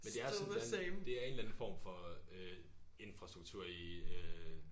Men det er sådan den det er en eller anden form for øh infrastruktur i øh